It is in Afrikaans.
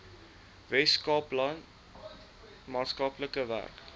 weskaapland maatskaplike werk